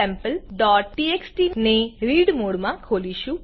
અહી આપણેfile sampleટીએક્સટી ને રીડ મોડમાં ખોલીશું